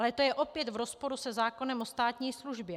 Ale to je opět v rozporu se zákonem o státní službě.